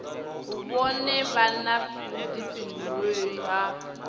vhone vha na vhuḓifhinduleli ha